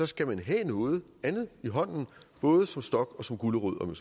skal man have noget andet i hånden både som stok og som gulerod